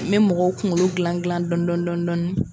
N bɛ mɔgɔw kunkolo gilan gilan dɔni dɔni dɔni dɔɔni.